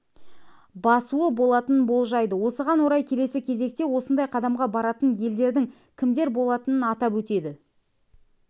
басуы болатынын болжайды осыған орай келесі кезекте осындай қадамға баратын елдердің кімдер болатынын атап өтеді